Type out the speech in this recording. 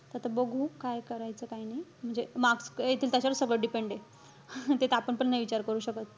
त आता बघू, काय करायचं, काय नाही. म्हणजे marks येतील, त्याचावर सगळं depend आहे. ते त आपण पण नाही विचार करू शकत.